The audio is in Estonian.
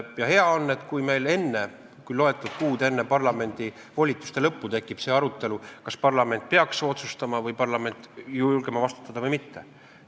Hea on, kui meil mõni kuu enne parlamendi volituste lõppu tekib arutelu, kas parlament peaks julgema vastutada või mitte.